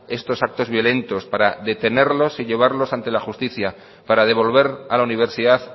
estos actos violentos para detenerlos y llevarlos ante la justicia para devolver a la universidad